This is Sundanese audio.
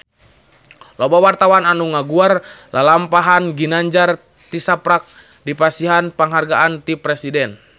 Loba wartawan anu ngaguar lalampahan Ginanjar tisaprak dipasihan panghargaan ti Presiden